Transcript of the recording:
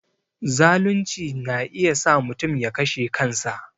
Zalunci na iya sa mutum ya kashe kansa